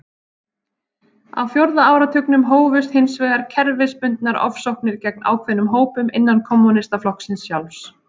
Á fjórða áratugnum hófust hins vegar kerfisbundnar ofsóknir gegn ákveðnum hópum innan kommúnistaflokksins sjálfs.